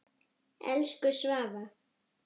Elsku Svava.